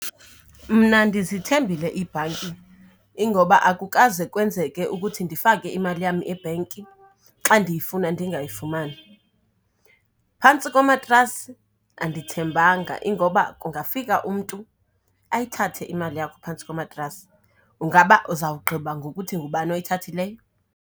Mna ndizithembile iibhanki, ingoba akukaze kwenzeke ukuthi ndifake imali yam ebhenki xa ndiyifuna ndingayifumani. Phantsi komatrasi andithembanga, ingoba kungafika umntu ayithathe imali yakho phantsi komatrasi. Ungaba uzawugqiba ngokuthi ngubani oyithathileyo?